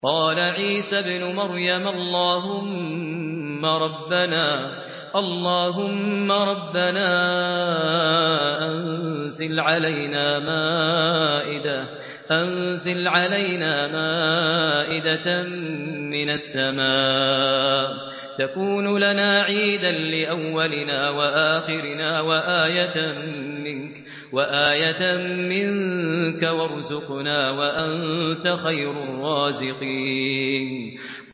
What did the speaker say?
قَالَ عِيسَى ابْنُ مَرْيَمَ اللَّهُمَّ رَبَّنَا أَنزِلْ عَلَيْنَا مَائِدَةً مِّنَ السَّمَاءِ تَكُونُ لَنَا عِيدًا لِّأَوَّلِنَا وَآخِرِنَا وَآيَةً مِّنكَ ۖ وَارْزُقْنَا وَأَنتَ خَيْرُ الرَّازِقِينَ